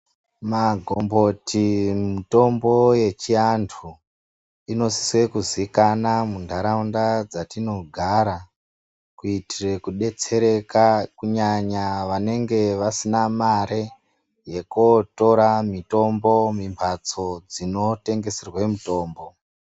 Magomboti mutombo yechiantu inosise kuziikana muntaraunda dzatinogara kutire kudetsereka kunyanya vanenge vasina mare yekuotora mutombo mimbatso dzinotengeserwe mitombo.